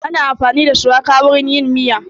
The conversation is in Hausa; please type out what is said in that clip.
Ana amfani da shuwaka wurin yin miya